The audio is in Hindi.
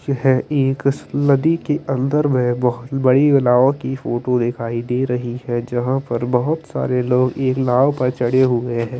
यह एक नदी केअंदर में बहुत बड़ी नाव की फोटो दिखाई दे रही है जहा पर बहुत सारे लोग एक नाव पर चढ़े हुए है।